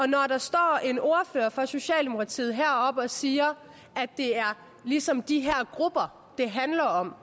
når der står en ordfører fra socialdemokratiet heroppe og siger at det er ligesom de her grupper det handler om